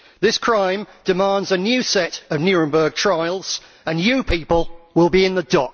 This crime demands a new set of Nuremberg trials, and you people will be in the